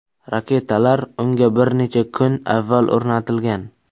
Raketalar unga bir necha kun avval o‘rnatilgan.